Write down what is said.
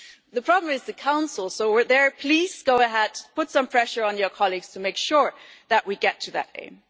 and the problem is the Council, so please go ahead, put some pressure on your colleagues to make sure that we get to that aim.